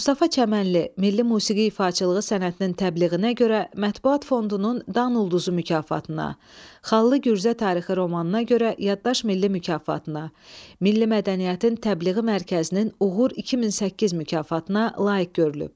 Mustafa Çəmənli Milli musiqi ifaçılığı sənətinin təbliğinə görə Mətbuat Fondunun "Dan ulduzu" mükafatına, "Xallı Gürcə" tarixi romanına görə "Yaddaş" milli mükafatına, Milli mədəniyyətin Təbliği Mərkəzinin "Uğur 2008" mükafatına layiq görülüb.